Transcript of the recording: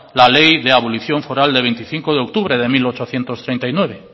la ley de abolición foral de veinticinco de octubre de mil ochocientos treinta y nueve